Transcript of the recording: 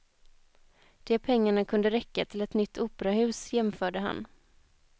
De pengarna kunde räcka till ett nytt operahus, jämförde han.